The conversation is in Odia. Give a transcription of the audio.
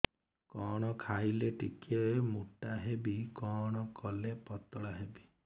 କଣ ଖାଇଲେ ଟିକେ ମୁଟା ହେବି କଣ କଲେ ପତଳା ହେବି